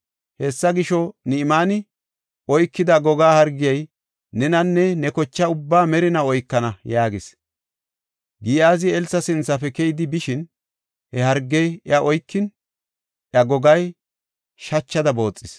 Hessa gisho, Ni7imaane oykida goga hargey nenanne ne kocha ubbaa merinaw oykana” yaagis. Giyaazi Elsa sinthafe keyidi bishin, he hargey iya oykin, iya gogay shachada booxis.